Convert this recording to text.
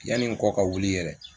Yanni n kɔ ka wuli yɛrɛ